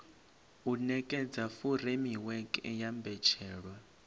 u nekedza furemiweke ya mbetshelwa